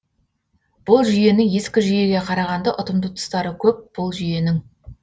бұл жүйені ескі жүйеге қарағанда ұтымды тұстары көп бұл жүйенің